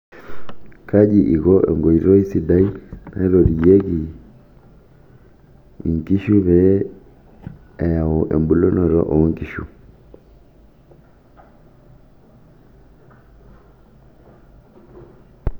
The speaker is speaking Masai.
Kaji iko enkoitoi sidai naitotiyiekinkishu pee eyau embulunoto oo nkishu?